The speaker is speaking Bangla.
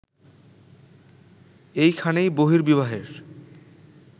এইখানেই বহির্বিবাহের